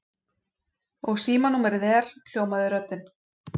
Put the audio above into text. Og símanúmerið er? hljómaði röddin.